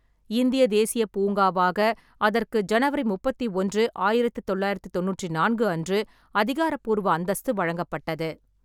இந்திய தேசியப் பூங்காவாக அதற்கு ஜனவரி முப்பத்தி ஒன்று, ஆயிரத்து தொள்ளாயிரத்து தொண்ணூற்று நான்கு அன்று அதிகாரபூர்வ அந்தஸ்து வழங்கப்பட்டது.